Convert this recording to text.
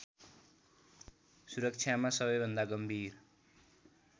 सुरक्षामा सबैभन्दा गम्भीर